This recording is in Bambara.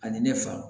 Ani ne fa